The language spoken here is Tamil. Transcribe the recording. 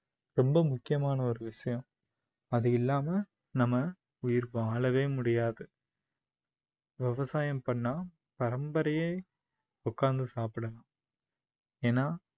ரொம்ப முக்கியமான ஒரு விஷயம். அது இல்லாம நம்ம உயிர் வாழவே முடியாது விவசாயம் பண்ணா பரம்பரையே உக்காந்து சாப்பிட ஏன்னா